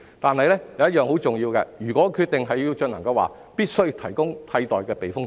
但是，有一點很重要，即如果決定要進行，必須提供替代的避風塘。